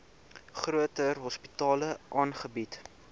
groter hospitale aangebied